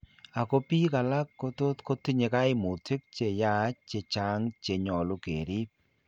Ako biik alak kotot kotinye kaimutik cheyach chechang' chenyolu keriib